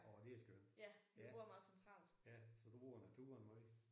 Årh det er skønt! Ja ja så du bruger naturen meget?